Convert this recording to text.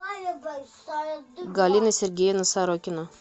галина сергеевна сорокина